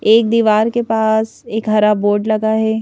एक दीवार के पास एक हरा बोर्ड लगा है।